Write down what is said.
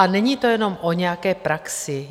A není to jenom o nějaké praxi.